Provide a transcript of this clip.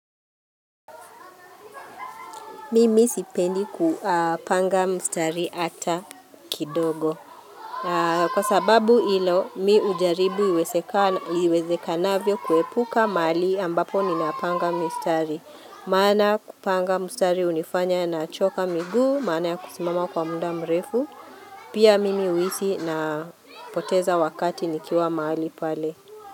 Mimi sipendi kupanga mstari ata kidogo. Kwa sababu ilo, mi ujaribu iweze kanavyo kuepuka mahali ambapo ninapanga mstari. Maana kupanga mstari unifanya na choka miguu, maana ya kusimama kwa muda mrefu. Pia mimi huhisi napoteza wakati nikiwa mahali pale.